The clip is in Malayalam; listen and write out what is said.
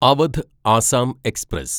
അവധ് ആസാം എക്സ്പ്രസ്